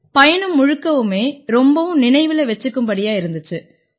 பயணம் முழுக்கவுமே ரொம்பவும் நினைவுல வச்சுக்கும்படியா இருந்திச்சு